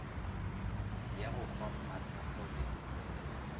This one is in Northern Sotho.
ya go fa mmatshepho le